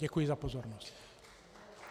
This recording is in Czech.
Děkuji za pozornost.